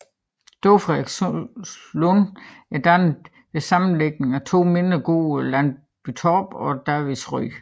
Store Frederikslund er dannet ved sammenlægning af de to mindre gårde Landbytorp og Davidsrød